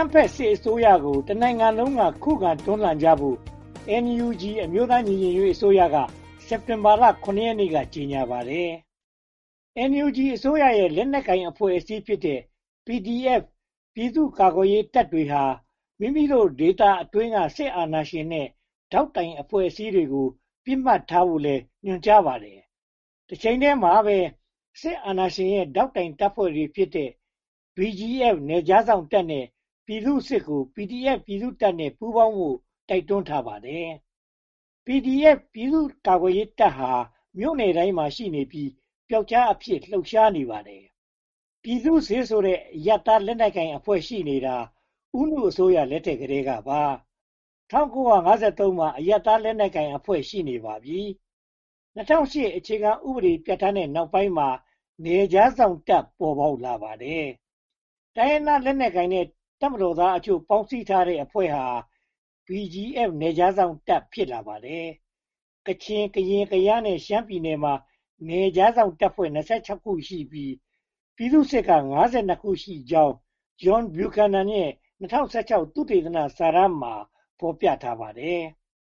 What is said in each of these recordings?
မ်းဖက်စစ်အစိုးရကို တနိုင်ငံလုံးက ခုခံတွန်းလှန်ကြဖို့ NUG အမျိုးသားညီညွှတ်ရေးအစိုးရက စက်တင်ဘာ ရက်နေ့က ကြေညာခဲ့ပါတယ်။ NUG အစိုးရရဲ့ လက်နက်ကိုင်အဖွဲ့အစည်းဖြစ်တဲ့ PDF ပြည်သူ့ကာကွယ်ရေးတပ်တွေဟာ မိမိတို့ဒေသတွင်းက စစ်အာဏာရှင်နဲ့ ဒေါက်တိုင်အဖွဲ့အစည်းတွေကို ပစ်မှတ်ထားဖို့လည်း ညွှန်ကြားထားပါတယ်။ တချိန်တည်းမှာ စစ်အာဏာရှင်ရဲ့ ဒေါက်တိုင်တပ်ဖွဲ့ဖြစ်တဲ့ BGF နယ်ခြားစောင့်တပ်နဲ့ ပြည်သူ့စစ်ကို PDF ပြည်သူ့တပ်နဲ့ ပူးပေါင်းကြဖို့ တိုက်တွန်းထားပါတယ်။ PDF ပြည်သူ့ကာကွယ်ရေးတပ်ဟာ မြို့တိုင်းမှာရှိနေပြီး ပြောက်ကျားစနစ်ဖြင့် လှုပ်ရှားနေကြပါတယ်။ ပြည်သူ့စစ်ဆိုတဲ့ အရပ်သားလက်နက်ကိုင်အဖွဲ့ ရှိနေတာ ဦးနုအစိုးရလက်ထက် ကတည်းကပါ။ ၁၉၅၃ ခုနှစ်မှာ အရပ်သားလက်နက်ကိုင်အဖွဲ့ ရှိနေပါပြီ။ ၂၀၀၈ အခြေခံဥပဒေ ပြဌာန်းထားတဲ့ နောက်ပိုင်းမှာ နယ်ခြားစောင့်တပ် ပေါ်လာပါတယ်။ တိုင်းရင်းသားလက်နက်ကိုင်နဲ့ တပ်မတော်သားအချို့ ပေါင်းစည်းထားတဲ့အဖွဲ့ဟာ BGF နယ်ခြားစောင့်တပ် ဖြစ်လာပါတယ်။ ကချင်၊ ကရင်၊ ကယားနဲ့ ရှမ်းပြည်နယ်မှာ နယ်ခြားစောင့်တပ် ခုပြီး၊ ပြည်သူ့စစ်က ခုရှိကြောင်း ဂျွန်ဗျူခန်နန်ရဲ့ သုတေသနစာတမ်းမှာ ဖော်ပြပါတယ်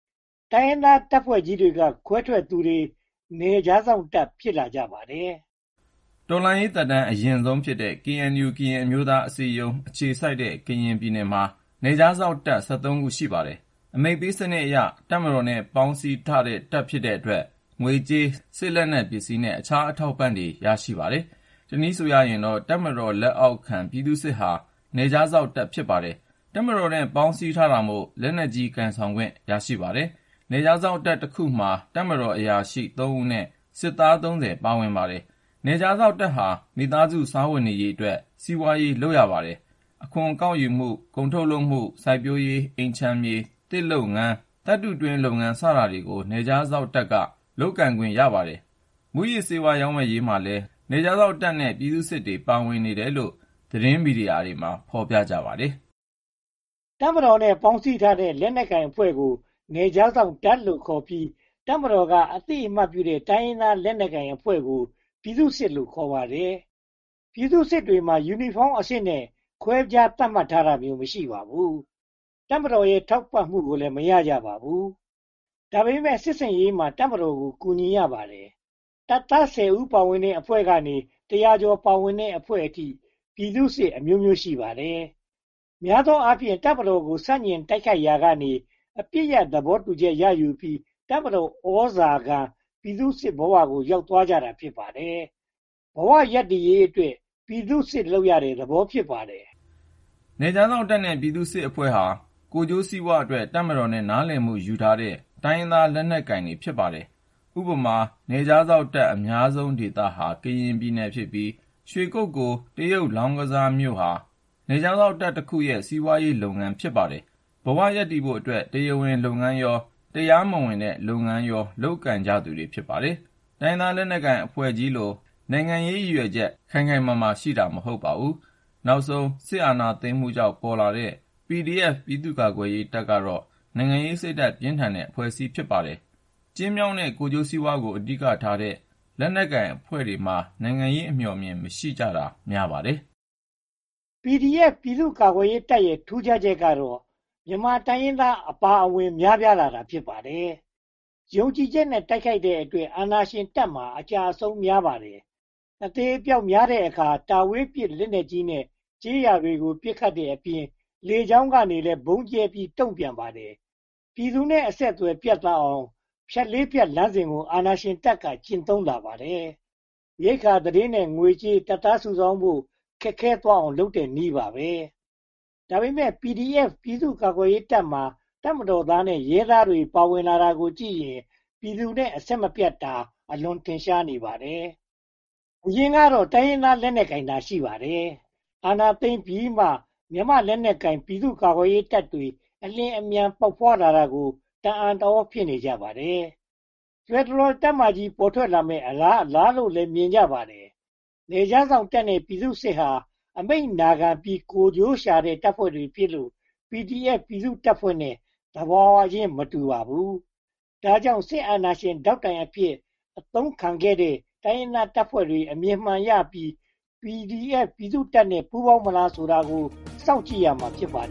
။ တိုင်းရင်းသားတပ်ဖွဲ့ကြီးတွေက ခွဲထွက်တဲ့သူတွေ နယ်ခြားစောင့် ဖြစ်လာကြပါတယ်။ တော်လှန်ရေးသက်တမ်း အရင့်ဆုံးဖြစ်တဲ့ KNU ကရင်အမျိုးသားအစည်းအရုံး အခြေစိုက်တဲ့ ကရင်ပြည်နယ်မှာ နယ်ခြားစောင့်တပ် ခု ရှိပါတယ်။ အမိန့်ပေးစနစ်အရ တပ်မတော်နဲ့ ပေါင်းစည်းထားတဲ့ တပ်တွေဖြစ်တဲ့အတွက် ငွေကြေး၊ စစ်ပစ္စည်းနဲ့ အခြားအထောက်အပံ့တွေ ရရှိပါတယ်။ တနည်းဆိုရင်တော့ တပ်မတော် လက်အောက်ခံပြည်သူ့စစ်ဟာ နယ်ခြားစောင့်တပ် ဖြစ်ပါတယ်။ တပ်မတော်နဲ့ ပေါင်းစည်းထားတာမို့ လက်နက်ကိုင်ဆောင်ခွင့် ရပါတယ်။ နယ်ခြားစောင့်တပ်တခုမှာ တပ်မတော်အရာရှိ ဦးနဲ့ စစ်သား ပါဝင်ပါတယ်။ နယ်ခြားစောင့်တပ်ဟာ မိသားစုစားဝတ်နေရေးအတွက် စီးပွားရေး လုပ်ပါတယ်။ အခွန်ကောက်ယူမှု၊ ကုန်ထုတ်လုပ်မှု၊ စိုက်ပျိုးရေး၊ အိမ်ခြံမြေ၊ သစ်လုပ်ငန်း၊ သတ္တုတွင်းလုပ်ငန်း စတာတွေကို နယ်ခြားစောင့်တပ်က လုပ်ကိုင်ပါတယ်။ မူးယစ်ဆေးဝါး ရောင်းဝယ်ရေးမှာလည်း နယ်ခြားစောင့်နဲ့ ပြည်သူ့စစ်တွေ ပါဝင်နေတယ်လို့ သတင်းမီဒီယာတွေမှာ ဖော်ပြပါတယ်။ တပ်မတော်နဲ့ ပေါင်းစည်းထားတဲ့ လက်နက်ကိုင်အဖွဲ့ကို နယ်ခြားစောင့်တပ်လို့ခေါ်ပြီး တပ်မတော်က အသိအမှတ်ပြုထားတဲ့ တိုင်းရင်းသား လက်နက်ကိုင်အဖွဲ့တွေကို ပြည်သူ့စစ်လို့ ခေါ်ပါတယ်။ ပြည်သူ့စစ်တွေမှာ ယူနီဖောင်းနဲ့အဆင့် ခွဲခြားသတ်မှတ်တာမျိုး မရှိပါဘူး။ တပ်မတော်ရဲ့ ထောက်ပံ့မှုကိုလည်း မရကြပါဘူး။ ဒါပေမဲ့ စစ်ဆင်ရေးမှာ တပ်မတော်ကို ကူညီရပါတယ်။ တပ်သား ဦး ပါဝင်တဲ့အဖွဲ့ကနေ တရာကျော်ပါဝင်တဲ့အဖွဲ့အထိ ပြည်သူ့စစ်အမျိုးမျိုး ရှိပါတယ်။ များသောအားဖြင့် တပ်မတော်ကို ဆန့်ကျင်တိုက်ခိုက်ရာကနေ အပစ်ရပ်သဘောတူညီချက်ရယူပြီး တပ်မတော်သြဇာခံ ပြည်သူ့စစ်ဘဝ ရောက်သွားကြတာ ဖြစ်ပါတယ်။ ဘဝရပ်တည်ရေးအတွက် ပြည်သူ့စစ်လုပ်ရတဲ့သဘော ဖြစ်ပါတယ်။ နယ်ခြားစောင့်တပ်နဲ့ ပြည်သူ့စစ်အဖွဲ့တွေဟာ ကိုယ်ကျိုးစီးပွားအတွက် တပ်မတော်နဲ့ နားလည်မှုယူထားတဲ့ တိုင်းရင်းသားလက်နက်ကိုင်တွေ ဖြစ်ပါတယ်။ ဥပမာ နယ်ခြားစောင့်တပ်အများဆုံး ဒေသဟာ ကရင်ပြည်နယ်ဖြစ်ပြီး ရွှေကုက္ကိုလ် တရုတ်လောင်းကစားမြို့ဟာ နယ်ခြားစောင့်တပ်တခုရဲ့ စီးပွားရေးလုပ်ငန်း ဖြစ်ပါတယ်။ ဘဝရပ်တည်ဖို့အတွက် တရားဝင်လုပ်ငန်းရော၊ တရားမဝင်တဲ့လုပ်ငန်းရော လုပ်ကိုင်ကြသူတွေ ဖြစ်ပါတယ်။ တိုင်းရင်းသားလက်နက်ကိုင်အဖွဲ့ကြီးလို နိုင်ငံရေးရည်ရွယ်ချက် ခိုင်ခိုင်မာမာရှိတာ မဟုတ်ပါဘူး။ နောက်ဆုံး စစ်အာဏာသိမ်းမှုကြောင့် ပေါ်ပေါက်လာတဲ့ PDF ပြည်သူ့ကာကွယ်ရေးတပ်ကတော့ နိုင်ငံရေးစိတ်ဓါတ် ပြင်းထန်တဲ့အဖွဲ့အစည်း ဖြစ်ပါတယ်။ ကျဉ်းမြောင်းတဲ့ ကိုယ်ကျိုးစီးပွားကို အဓိကထားတဲ့ လက်နက်ကိုင်အဖွဲ့တွေမှာ နိုင်ငံရေးအမြော်အမြင် မရှိကြတာ များပါတယ်။ PDF ပြည်သူ့ကာကွယ်ရေးတပ်ရဲ့ ထူးခြားချက်ကတော့ မြန်မာတိုင်းရင်းသားအများအပြား ပါဝင်နေတာ ဖြစ်ပါတယ်။ ယုံကြည်ချက်နဲ့ တိုက်ခိုက်တဲ့အတွက် အာဏာရှင်တပ်မှာ အကျအဆုံး များပါတယ်။ အသေအပျောက်များတဲ့အခါ တာဝေးပစစ်လက်နက်ကြီးနဲ့ ကျေးရွာတွေကို ပစ်ခတ်တဲ့အပြင် လေကြောင်းကလည်း ဗုံးကြဲပြီး တုံ့ပြန်ပါတယ်။ ပြည်သူနဲ့ အဆက်အသွယ်ပြတ်သွားအောင် ‘ဖြတ်လေးဖြတ်’ လမ်းစဉ်ကို အာဏာရှင်တပ်က ကျင့်သုံးလာပါတယ်။ ရိက္ခာ၊ သတင်း၊ ငွေကြေးနဲ့ တပ်သားစုဆောင်းဖို့ ခက်ခဲသွားအောင် လုပ်တဲ့နည်းပါ။ ဒါပေမဲ့ PDF ပြည်သူ့ကာကွယ်ရေးတပ်မှာ တပ်မတော်သားနဲ့ ရဲသားတွေ ပါဝင်လာတာကိုကြည့်ရင် ပြည်သူနဲ့ အဆက်မပြတ်တာ အလွန်ထင်ရှားနေပါတယ်။ အရင်ကတော့ တိုင်းရင်းသားလက်နက်ကိုင်သာ ရှိပါတယ်။ အာဏာသိမ်းပြီးမှ မြန်မာလက်နက်ကိုင် ပြည်သူ့ကာကွယ်ရေးတပ်ဖွဲ့တွေ အလျင်အမြန် ပေါက်ဖွားလာတာကို တအံ့တသြ ဖြစ်နေကြပါတယ်။ ဖယ်ဒရယ်တပ်မကြီး ပေါ်ထွက်လာမယ့် အလားအလာလို့ မြင်ကြပါတယ်။ နယ်ခြားစောင့်တပ်နဲ့ ပြည်သူ့စစ်ဟာ အမိန့်နာခံပြီး ကိုယ်ကျိုးရှာတဲ့ တပ်ဖွဲ့တွေဖြစ်လို့ PDF ပြည်သူ့တပ်ဖွဲ့နဲ့ သဘာဝချင်း မတူကြပါဘူး။ ဒါကြောင့် စစ်အာဏာရှင်ဒေါက်တိုင်အဖြစ် အသုံးတော်ခံနေကြတဲ့ တိုင်းရင်းသားတပ်ဖွဲ့တွေ အမြင်မှန်ရပြီး PDF ပြည်သူ့တပ်နဲ့ ပူးပေါင်းမလားဆိုတာကို စောင့်ကြည့်ရမှာ ဖြစ်ပါတယ်